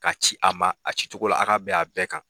Ka ci a ma a cicogo la aw ka bɛn a bɛɛ kan